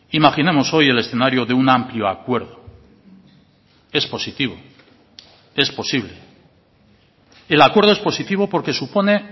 imaginemos hoy el escenario de un amplio acuerdo es positivo es posible el acuerdo es positivo porque supone